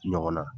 Ɲɔgɔn na